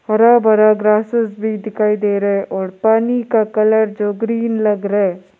हरा भरा ग्रासेस भी दिखाई दे रहा है और पानी का कलर जो ग्रीन लग रहा है।